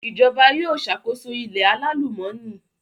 Ìjọba yóò ṣàkóso ilẹ̀ alálùmọ́nì